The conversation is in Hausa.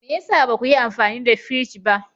Me ya sa ba ku yi amfani da firij ba?